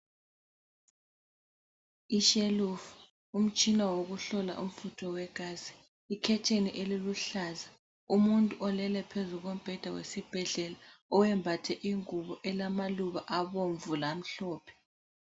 Ishelufu, umtshina wokuhlola umfutho wegazi. Ikhetheni eliluhlaza, umuntu olele phezu kombheda wesibhedlela oyembathe ingubo elamaluba abomvu lamhlophe.